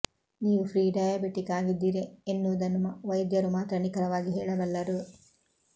ನೀವು prediabetic ಆಗಿದ್ದೀರಿ ಎನ್ನುವುದನ್ನು ವೈದ್ಯರು ಮಾತ್ರ ನಿಖರವಾಗಿ ಹೇಳಬಲ್ಲರು